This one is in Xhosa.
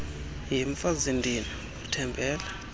yhe mfazindini uthembele